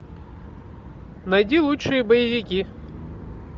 найди лучшие боевики